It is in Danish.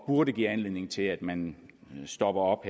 burde give anledning til at man stopper op